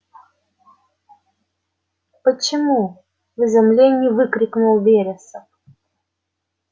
почему в изумлении выкрикнул вересов